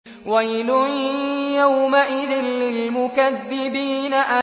وَيْلٌ يَوْمَئِذٍ لِّلْمُكَذِّبِينَ